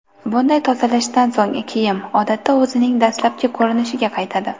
Bunday tozalashdan so‘ng kiyim, odatda, o‘zining dastlabki ko‘rinishiga qaytadi.